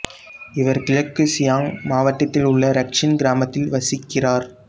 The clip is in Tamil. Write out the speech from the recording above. இவர் கிழக்கு சியாங் மாவட்டத்தில் உள்ள இரக்சின் கிராமத்தில் வசிக்கிறார்